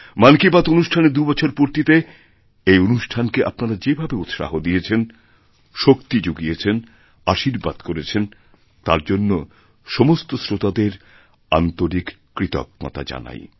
মন কি বাত অনুষ্ঠানেরদুবছর পূর্তিতে এই অনুষ্ঠানকে আপনারা যেভাবে উৎসাহ দিয়েছেন শক্তি জুগিয়েছেনআশীর্বাদ করেছেন তার জন্য সমস্ত শ্রোতাদের আন্তরিক কৃতজ্ঞতা জানাই